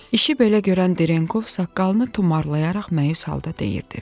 İşi belə görən Ditenkov saqqalını tumarlayaraq məyus halda deyirdi: